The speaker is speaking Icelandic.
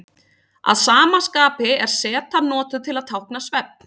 Að sama skapi er zetan notuð til að tákna svefn.